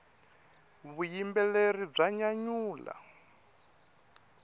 vuyimbeleri bya nyanyula